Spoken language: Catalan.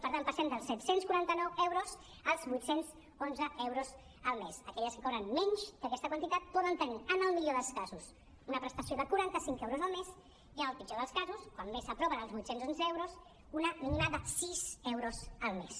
per tant passem dels set·cents quaranta·nou euros als vuit·cents onze eu·ros al mes aquelles que cobren menys d’aquesta quantitat poden tenir en el millor dels casos una prestació de quaranta·cinc euros al mes i en el pitjor dels casos quan més s’apropen als vuit·cents onze euros una mínima de sis euros al mes